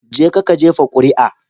Jeka ka jefa kuri'a